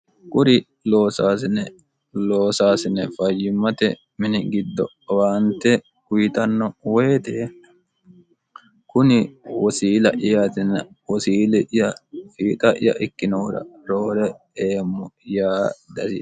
kuri loosaasine fayyimmate mini giddo owaante uyitanno woyite kuni wosiila'yaatina wosiili'ya fiixa'ya ikkinoohura roore eemmo yaa dasiissano